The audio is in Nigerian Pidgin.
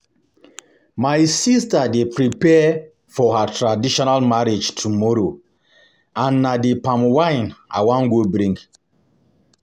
My sister dey prepare for her traditional marriage tomorrow and na the palm wine I wan go bring